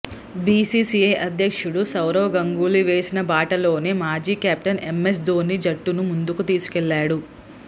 BCCI అధ్యక్షుడు సౌరవ్ గంగూలీ వేసిన బాటలోనే మాజీ కెప్టెన్ ఎంఎస్ ధోనీ జట్టును ముందుకు తీసుకెళ్లాడు